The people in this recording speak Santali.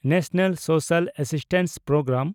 national social assistance programme